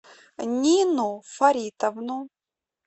нину фаритовну